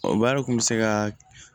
O baara kun bɛ se ka